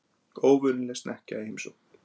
Óvenjuleg snekkja í heimsókn